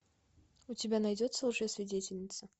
у тебя найдется лжесвидетельница